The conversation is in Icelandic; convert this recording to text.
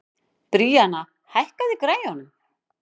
Bríanna, hækkaðu í græjunum.